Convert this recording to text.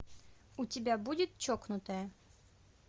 у тебя будет чокнутая